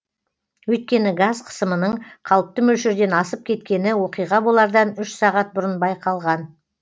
өйткені газ қысымының қалыпты мөлшерден асып кеткені оқиға болардан үш сағат бұрын байқалған